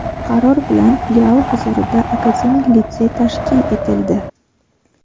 qaror bilan Filial huzurida akademik litsey tashkil etildi.